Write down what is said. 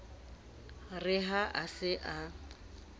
re ha a se a